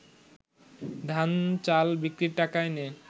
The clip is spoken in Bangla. ধান চাল বিক্রির টাকা এনে